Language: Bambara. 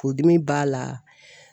Furudimi b'a la